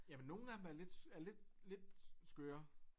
Jamen nogen af dem er lidt er lidt lidt skøre